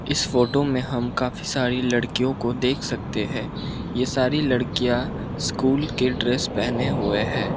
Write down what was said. इस फोटो में हम काफी सारी लड़कियों को देख सकते है ये सारी लड़कियां स्कूल के ड्रेस पहने हुए हैं।